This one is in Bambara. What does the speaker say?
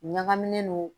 Ɲagaminen don